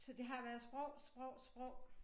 Så det har været sprog sprog sprog